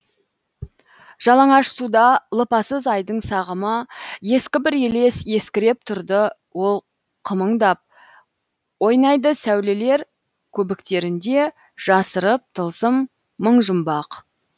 жалаңаш суда лыпасыз айдың сағымы ескі бір елес есіркеп тұрды ол қылмыңдап ойнайды сәулелер көбіктерінде жасырып тылсым мың жұмбақ